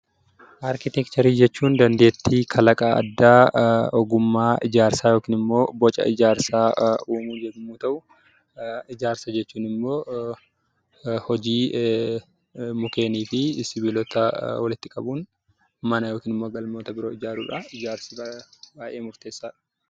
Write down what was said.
Arkiteekcharii jechuun dandeettii kalaqaa addaa ogummaa ijaarsaa yookiin immoo boca ijaarsaa uumuu yommuu ta'u; Ijaarsa jechuun immoo hojii mukkeenii fi sibiilotaa walitti qabuun, mana yookiin immoo galmoota biroo ijaaruu dha. Ijaarsi baay'ee murteessaa dha.